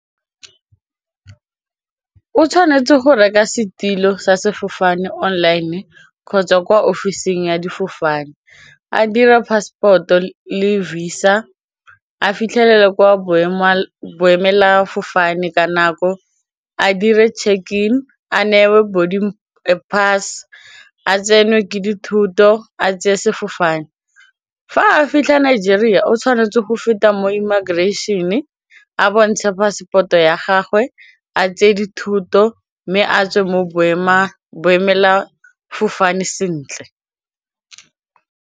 O tshwanetse go reka setilo sa sefofane online kgotsa kwa office-ng ya difofane, a dira passport-o le visa a fitlhelele kwa boemelafofane ka nako a dire check-e in a newe boarding pass, a tsenwe ke dithoto a tseye sefofane, fa a fitlha Nigeria o tshwanetse go feta mo immigration a bontshe phasepoto ya gagwe a tse di thuto mme a tswe mo boemelafofane sentle.